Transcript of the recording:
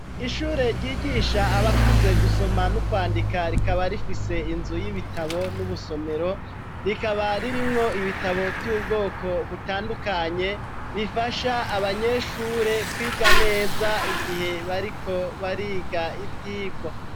Ishure ryigisha abakuze gusoma n'ukwandika rikaba rifise inzu y'ibitabo n'ubusomero rikaba ririmwo ibitabo vy'ubwoko butandukanye bifasha abanyeshure kwiga neza igihe bariko bariga ivyigwa.